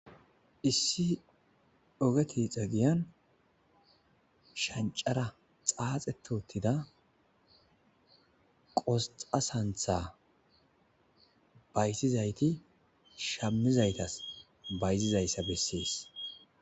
Issi ogee tixxa giyaanni shanitara xaxeti uttida qosita saniththa bayizizatti shamizayitas bayizizayissa besses.